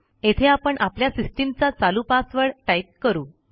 येथे आपण आपल्या सिस्टीमचा चालू पासवर्ड टाईप करू